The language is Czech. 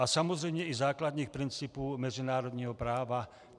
A samozřejmě i základních principů mezinárodního práva.